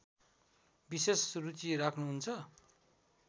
विशेष रुचि राख्‍नुहुन्छ